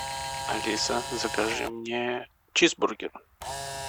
алиса закажи мне чизбургер